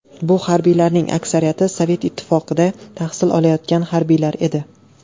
Bu harbiylarning aksariyati Sovet Ittifoqida tahsil olgan harbiylar edi.